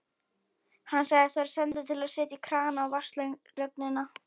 Hann sagðist vera sendur til að setja krana á vatnslögnina.